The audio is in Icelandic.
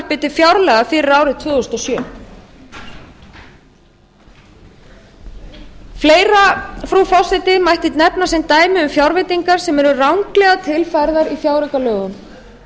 til fjárlaga fyrir árið tvö þúsund og sjö fleira frú forseti mætti nefna sem dæmi um fjárveitingar sem eru ranglega tilfærðar í fjáraukalögum